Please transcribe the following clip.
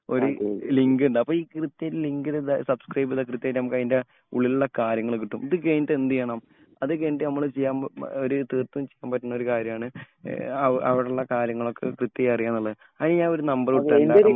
ഒരു ലിങ്ക് ഉണ്ട്. അപ്പോ കൃത്യമായിട്ട്‌ ഈ ലിങ്കില് സബ്സ്ക്രൈബ് ചെയ്താൽ കൃത്യായിട്ട് നമുക്ക് അതിന്റെ ഉള്ളിലുള്ള കാര്യങ്ങൾ കിട്ടും. ഇത് കഴിഞ്ഞിട്ട് എന്ത് ചെയ്യണം അത് കഴിഞ്ഞിട്ട് നമ്മൾ ചെയ്യാൻ ഒരു തീർത്തൂം ചെയ്യാൻ പറ്റുന്നൊരു കാര്യാണ് അവിടെ ഉള്ള കാര്യങ്ങൾ ഒക്കെ കൃത്യായി അറിയാ എന്നുള്ളത്. അതിന് ഞാൻ ഒരു നമ്പർ വിട്ട് തരാം നമ്മളെ